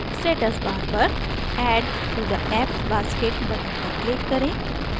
status bar पर add to the apps basket button पर click करें